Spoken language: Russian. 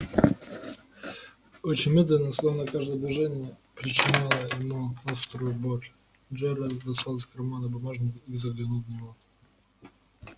очень медленно словно каждое движение причиняло ему острую боль джералд достал из кармана бумажник и заглянул в него